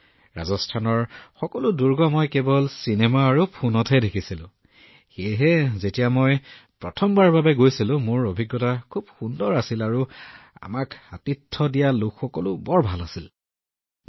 মই ৰাজস্থানৰ এই সকলোবোৰ দুৰ্গ কেৱল চলচ্চিত্ৰ আৰু ফোনত দেখিছিলো সেয়েহে যেতিয়া মই প্ৰথমবাৰৰ বাবে গৈছিলো মোৰ অভিজ্ঞতা খুব ভাল হৈছিল তাত থকা লোকসকল খুব ভাল আছিল আৰু আমাৰ সৈতে খুব ভাল আচৰণ কৰিছিল